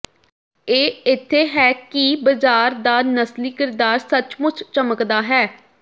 ਇਹ ਇੱਥੇ ਹੈ ਕਿ ਬਾਜ਼ਾਰ ਦਾ ਨਸਲੀ ਕਿਰਦਾਰ ਸੱਚਮੁਚ ਚਮਕਦਾ ਹੈ